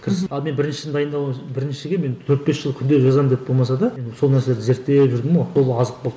ал мен біріншіні біріншіге мен төрт бес жыл күнделік жазамын деп болмаса да сол нәрсені зерттеп жүрдім ғой сол азық болды